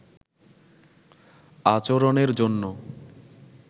আচরণের জন্য